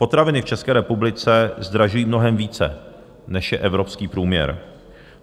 Potraviny v České republice zdražují mnohem více, než je evropský průměr.